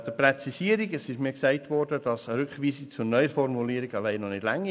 Zur Präzisierung: Es wurde mir gesagt, eine Rückweisung zur Neuformulierung reiche allein noch nicht aus.